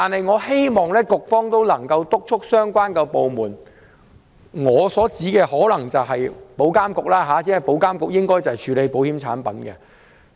我希望局方能夠督促相關部門——我所指的是保險業監管局，因為保監局應該負責規管保險產品——作出跟進。